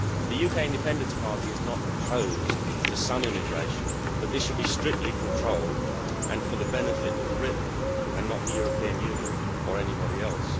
The UK Independence Party is not opposed to some immigration, but this should be strictly controlled and for the benefit of Britain and not the European Union or anybody else.